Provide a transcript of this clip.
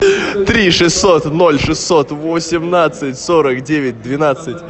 три шестьсот ноль шестьсот восемнадцать сорок девять двенадцать